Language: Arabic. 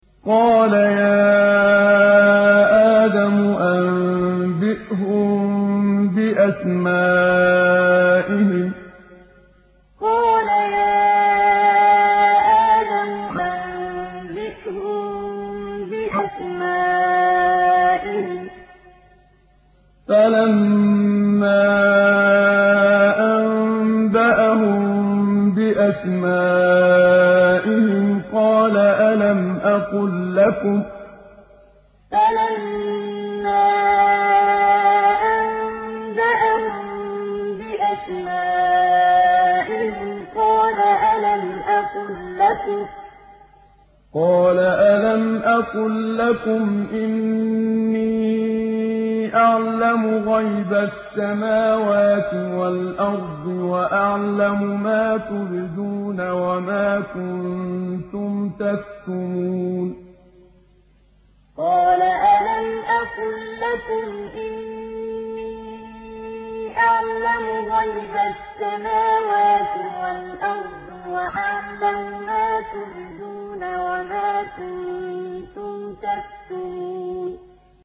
قَالَ يَا آدَمُ أَنبِئْهُم بِأَسْمَائِهِمْ ۖ فَلَمَّا أَنبَأَهُم بِأَسْمَائِهِمْ قَالَ أَلَمْ أَقُل لَّكُمْ إِنِّي أَعْلَمُ غَيْبَ السَّمَاوَاتِ وَالْأَرْضِ وَأَعْلَمُ مَا تُبْدُونَ وَمَا كُنتُمْ تَكْتُمُونَ قَالَ يَا آدَمُ أَنبِئْهُم بِأَسْمَائِهِمْ ۖ فَلَمَّا أَنبَأَهُم بِأَسْمَائِهِمْ قَالَ أَلَمْ أَقُل لَّكُمْ إِنِّي أَعْلَمُ غَيْبَ السَّمَاوَاتِ وَالْأَرْضِ وَأَعْلَمُ مَا تُبْدُونَ وَمَا كُنتُمْ تَكْتُمُونَ